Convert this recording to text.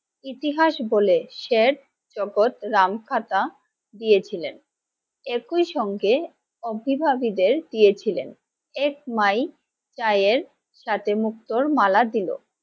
ইতিহাস বলে শেঠ জগৎ রামখাতা দিয়েছিলেন। একই সঙ্গে অভিভাবিদের দিয়েছিলেন এক মাই এর সাথে মুক্তোর মালা দিলো।